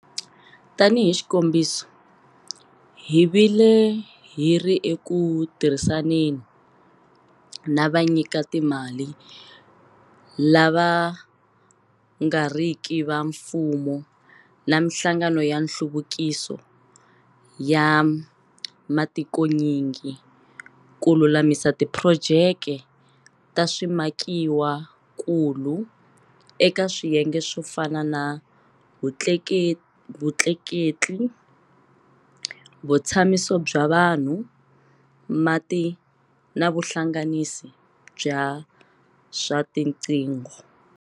Tanihi xikombiso, hi vile hi ri eku tirhisaneni na vanyikatimali lava nga riki va mfumo na mihlangano ya nhluvukiso ya matikonyingi ku lulamisa tiphurojeke ta swimakiwakulu eka swiyenge swo fana na vutleketli, vutshamiso bya vanhu, mati na vuhlanganisi bya swa tiqingho.